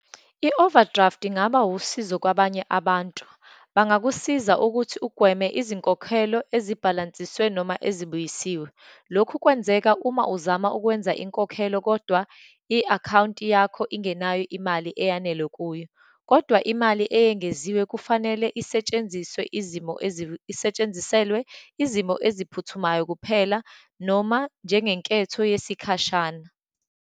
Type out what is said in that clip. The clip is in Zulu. I-overdraft ingaba usizo kwabanye abantu. Bangakusiza ukuthi ugweme izinkokhelo ezibhalansiswe noma ezibuyisiwe. Lokhu kwenzeka uma uzama ukwenza inkokhelo kodwa i-akhawunti yakho ingenayo imali eyanele kuyo. Kodwa imali eyengeziwe kufanele isetshenziswe izimo isetshenziselwe izimo eziphuthumayo kuphela, noma njengenketho yesikhashana.